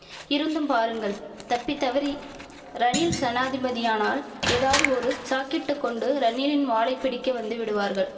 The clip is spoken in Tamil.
இருந்தும் பாருங்கள் தப்பித் தவறி ரணில் சனாதிபதியானால் ஏதாவது ஒரு சாக்கிட்டுக் கொண்டு ரணிலின் வாலைப் பிடிக்க வந்துவிடுவார்கள்